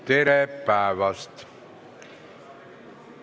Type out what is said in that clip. Tere päevast!